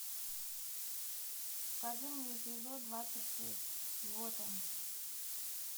покажи мне эпизод двадцать шесть готэм